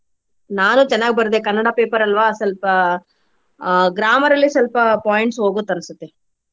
ನಾನು ಚೆನ್ನಾಗ್ ಬರ್ದೆ ಕನ್ನಡ paper ಅಲ್ವಾ ಸ್ವಲ್ಪ ಆಹ್ grammar ಅಲ್ಲಿ ಸ್ವಲ್ಪ points ಹೋಗುತ್ತ್ ಅನ್ಸುತ್ತೆ.